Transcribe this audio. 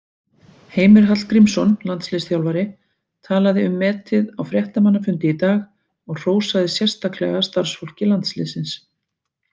Heimir Hallgrímsson, landsliðsþjálfari, talaði um metið á fréttamannafundi í dag og hrósaði sérstaklega starfsfólki landsliðsins.